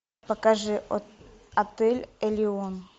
покажи отель элеон